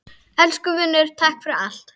Elsku vinur, takk fyrir allt.